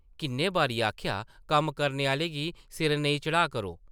किन्ने बारी आखेआ कम्म करने आह्लें गी सिर नेईं चढ़ाऽ करो ।